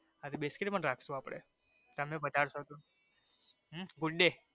હા પણ બિસ્કિટ પણ રાખશુ અપડે તમે પધારશો તો હમ good day